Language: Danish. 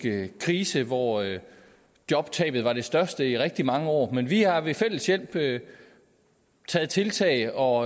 krise hvor jobtabet var det største i rigtig mange år men vi har ved fælles hjælp taget tiltag og